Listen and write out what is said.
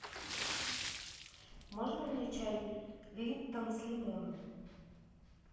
можно мне чай липтон с лимоном